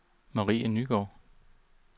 Marie Nygaard